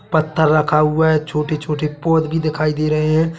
पत्थर रखा हुआ है छोटे छोटे पोद भी दिखाई दे रहे है।